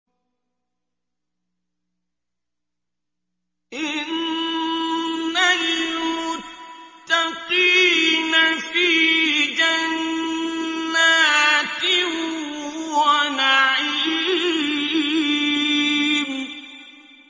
إِنَّ الْمُتَّقِينَ فِي جَنَّاتٍ وَنَعِيمٍ